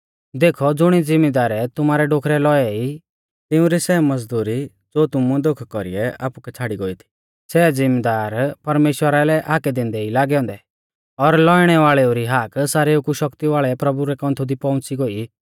देखौ ज़ुणी ज़िमदारै तुमारै डोखरै लौऐ ई तिउंरी सै मज़दुरी ज़ो तुमुऐ धोखै कौरीऐ आपुकै छ़ाड़ी गोई थी सै ज़िमिदार परमेश्‍वरा लै हाकै दैंदै ई लागै औन्दै और लौइणै वाल़ेऊ री हाक सारेऊ कु शक्ति वाल़ै प्रभु रै कौन्थु दी पौउंच़ी गोई